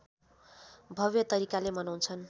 भव्य तरिकाले मनाउँछन्